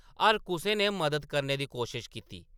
हर कुसै ने मदद करने दी कोशश कीती ।